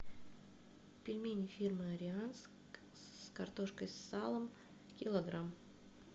пельмени фирмы ариант с картошкой с салом килограмм